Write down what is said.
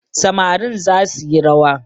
Samarin za suyi rawa